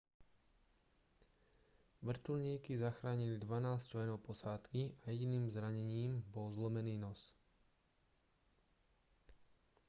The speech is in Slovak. vrtuľníky zachránili dvanásť členov posádky a jediným zranením bol zlomený nos